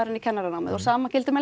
inn í kennaranámið sama gildir með